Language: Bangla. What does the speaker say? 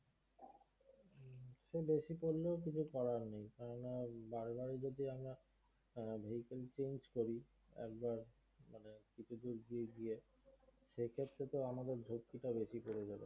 বেশী পড়লেও কিছু করার নেই কেননা বারবার যদি আমরা হম vehicle change করি একবার মানে কিছু দূর গিয়ে গিয়ে সেক্ষেত্রে আমাদের ঝক্কিটাও বেশি পড়বে